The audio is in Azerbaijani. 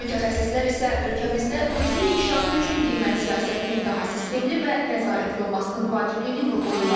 Mütəxəssislər isə ölkəmizdə turizmin inkişafı üçün qiymət siyasətinin daha sistemli və nəzarətli olmasının vacibliyini vurğulayırlar.